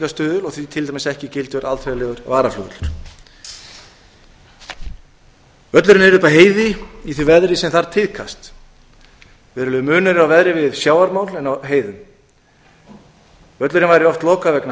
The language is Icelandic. nýtingarstuðull og því til dæmis ekki gildur alþjóðlegur varaflugvöllur völlurinn er uppi á heiði í því veðri sem þar tíðkast verulegur munur er á veðri við sjávarmál en á heiðum völlurinn væri oft lokaður vegna